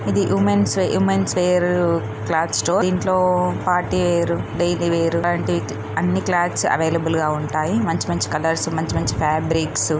ఇది women's women's wear cloth store దీంట్లో party wear daily wear లాంటివి అన్నిక్లాత్స్ అవైలబుల్ గా ఉంటాయి మంచి మంచి కలర్స్ మంచి మంచి ఫాబ్రిక్స్ --